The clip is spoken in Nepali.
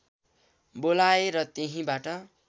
बोलाए र त्यहीँबाट